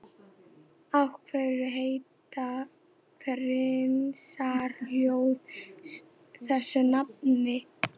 Af hverju heita parísarhjól þessu nafni?